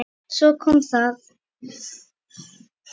Svo kom það.